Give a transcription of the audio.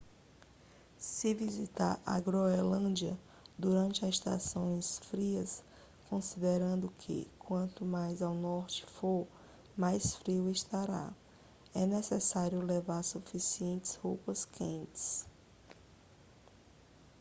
se visitar a groenlândia durante as estações frias considerando que quanto mais ao norte for mais frio estará é necessário levar suficientes roupas quentes